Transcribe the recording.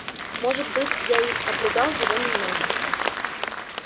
может быть я и обругал его немного